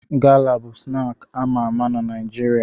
Gala bụ snaakị a ma ama na Naịjirịa.